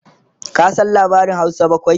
ka San labarin Hausa bakwai?